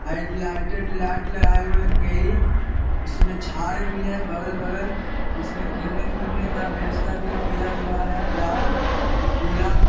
Height lighted light लगाए हुए हैं कई उसमे झार भी है बगल-बगल उसमे खेलने कूदने का व्यवस्था भी किया हुआ है लाल पीला ।